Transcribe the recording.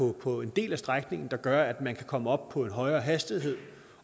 det på en del af strækningen er gør at man kan komme op på en højere hastighed